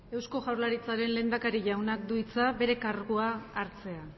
eusko jaurlaritzaren lehendakari jaunak du hitza bere kargua hartzea